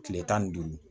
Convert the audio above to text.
Kile tan ni duuru